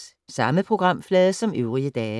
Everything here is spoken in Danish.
Samme programflade som øvrige dage